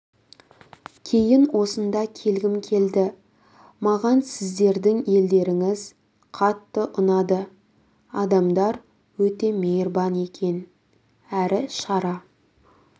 кейін осында келгім келді маған сіздердің елдеріңіз қатты ұнады адамдар өте мейірбан екен әрі шара